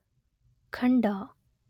ಖಂಡ